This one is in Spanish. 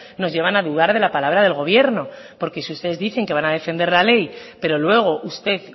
nos llevan a dudar de la palabra del gobierno porque si ustedes dicen que van a defender la ley pero luego usted